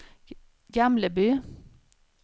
Gamleby